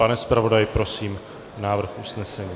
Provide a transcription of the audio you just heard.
Pane zpravodaji, prosím, návrh usnesení.